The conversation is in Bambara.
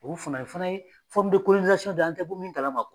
o fana o fana ye dɔ ye, an tɛ bɔ min kalama